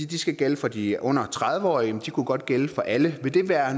de skal gælde for de under tredive årige men de kunne godt gælde for alle vil det være